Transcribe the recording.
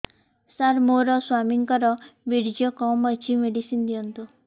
ସାର ମୋର ସ୍ୱାମୀଙ୍କର ବୀର୍ଯ୍ୟ କମ ଅଛି ମେଡିସିନ ଦିଅନ୍ତୁ